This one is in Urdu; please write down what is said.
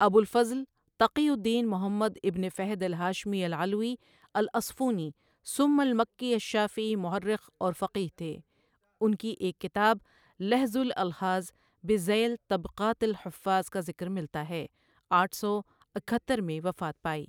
ابو الفضل تقي الدين محمد ابن فهد الهاشمي العلويّ الاصفوني ثم المكيّ الشافعي مؤرخ اور فقیہ تھے ان کی ایک کتاب لحظ الألحاظ بذيل طبقات الحفاظ کا ذکر ملتا ہے آٹھ سو اکہتر میں وفات پائی۔